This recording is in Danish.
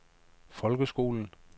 folkeskolen